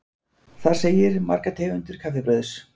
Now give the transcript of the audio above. Þar segir: Margar tegundir kaffibrauðs.